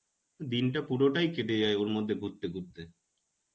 দিনটা পুরোটাই কেটে যায় ওরমধ্যে ঘুরতে ঘুরতে.